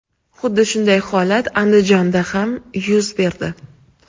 Xuddi shunday holat Andijonda ham yuz berdi .